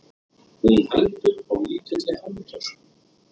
Hún heldur á lítilli handtösku.